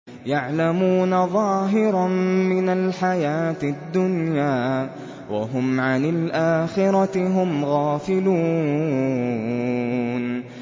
يَعْلَمُونَ ظَاهِرًا مِّنَ الْحَيَاةِ الدُّنْيَا وَهُمْ عَنِ الْآخِرَةِ هُمْ غَافِلُونَ